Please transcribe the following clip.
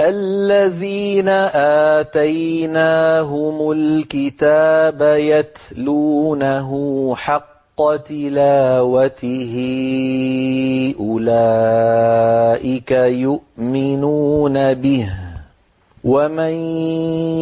الَّذِينَ آتَيْنَاهُمُ الْكِتَابَ يَتْلُونَهُ حَقَّ تِلَاوَتِهِ أُولَٰئِكَ يُؤْمِنُونَ بِهِ ۗ وَمَن